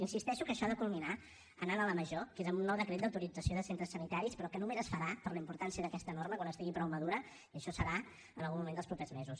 insisteixo que això ha de culminar anant a la major que és amb un nou decret d’autorització de centres sanitaris però que només es farà per la importància d’aquesta norma quan estigui prou madura i això serà en algun moment dels propers mesos